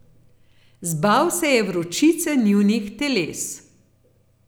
Zbal se je vročice njunih teles.